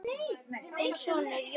Þinn sonur, Jón Árni.